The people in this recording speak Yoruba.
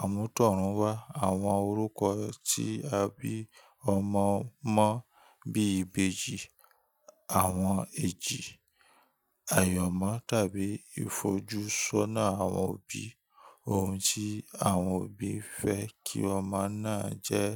àmútọ̀runwá: Àwọn orúkọ tí a bí ọmọ mọ́ bíi ìbejì, àwọn èjì, àyanmọ́ tàbí ìfojúsọ́nà àwọn òbí; oun tí àwọn òbí fẹ́ kí ọmọ náà jẹ́.